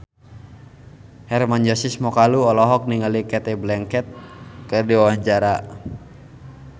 Hermann Josis Mokalu olohok ningali Cate Blanchett keur diwawancara